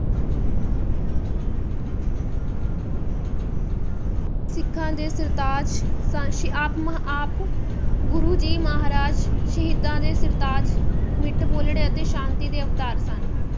ਸਿੱਖਾਂ ਦੇ ਸਰਤਾਜ ਸਨ ਸ~ ਆਪ ਮਹ~ ਆਪ ਗੁਰੂ ਜੀ ਮਹਾਰਾਜ ਸ਼ਹੀਦਾਂ ਦੇ ਸਰਤਾਜ, ਮਿੱਠ ਬੋਲੜੇ ਅਤੇ ਸ਼ਾਂਤੀ ਦੇ ਅਵਤਾਰ ਸਨ।